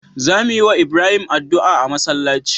Za muyi wa Ibrahim adu'a a masalaci